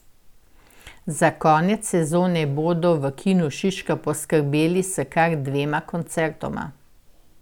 Za konec sezone bodo v Kinu Šiška poskrbeli s kar dvema koncertoma.